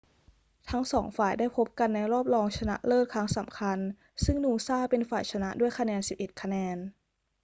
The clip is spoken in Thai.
ทั้งสองฝ่ายได้พบกันในรอบรองชนะเลิศครั้งสำคัญ ซึ่งนูซ่าเป็นฝ่ายชนะด้วยคะแนน 11 คะแนน